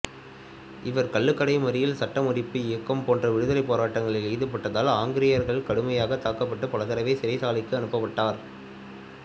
இவர் கள்ளுக்கடை மறியல் சட்டமறுப்பு இயக்கம் போன்ற விடுதலைப் போராட்டங்களில் ஈடுபட்டதால் ஆங்கிலேயரால் கடுமையாகத் தாக்கப்பட்டு பலதடவை சிறைச்சாலைக்கு அனுப்பப்பட்டார்